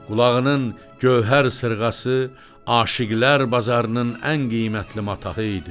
Qulağının gövhər sırğası aşiqlər bazarının ən qiymətli mataxı idi.